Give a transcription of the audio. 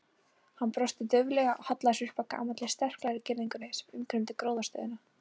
Hann brosti dauflega og hallaði sér upp að gamalli, sterklegri girðingunni sem umkringdi gróðrarstöðina.